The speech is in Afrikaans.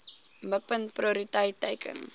mikpunt prioriteit teiken